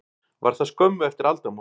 Var það skömmu eftir aldamót.